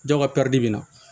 Jɔn ka bi na